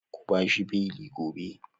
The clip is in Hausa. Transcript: Ku bashi beli gobe!